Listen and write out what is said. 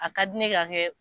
A ka di ne ka kɛ